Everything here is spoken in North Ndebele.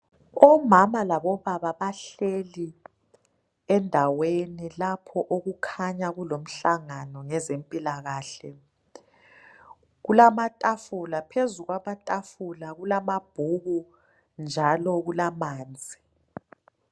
Omama labobaba bahleli endaweni lapho okukhanya kulomhlangano ngezempilakahle. Kulamatafula, phezu kwamatafula kulamabhuku njalo kulamanzi.